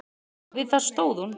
Og við það stóð hún.